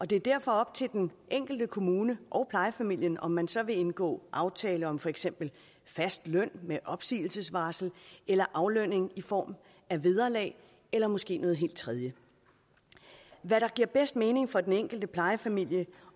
det er derfor op til den enkelte kommune og plejefamilien om man så vil vi indgå aftaler om for eksempel fast løn med opsigelsesvarsel eller aflønning i form af vederlag eller måske noget helt tredje hvad der giver bedst mening for den enkelte plejefamilie